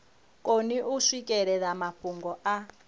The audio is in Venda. koni u swikelela mafhungo a